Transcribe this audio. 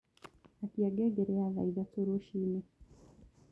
Akĩa ngengere ya thaa ĩthatũ rũcĩĩnĩ